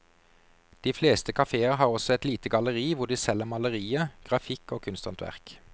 De fleste kaféer har også et lite galleri hvor de selger malerier, grafikk og kunsthåndverk.